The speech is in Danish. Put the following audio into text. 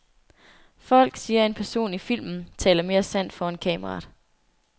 Folk, siger en person i filmen, taler mere sandt foran kameraet.